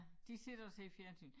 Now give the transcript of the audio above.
De sidder og ser fjernsyn